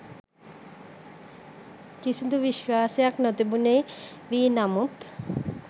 කිසිදු විශ්වාසයක් නොතිබුණේ වී නමුත්